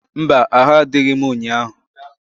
Mba! Ahụ adịghị m nnyaa.